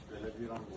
belə viran qoyulub.